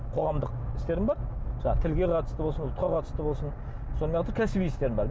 қоғамдық істерім бар жаңағы тілге қатысты болсын ұлтқа қатысты болсын сонымен қатар кәсіби істерім бар